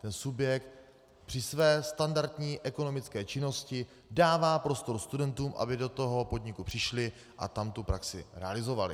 Ten subjekt při své standardní ekonomické činnosti dává prostor studentům, aby do toho podniku přišli a tam tu praxi realizovali.